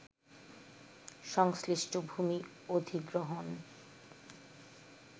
সংশ্লিষ্ট ভূমি অধিগ্রহণ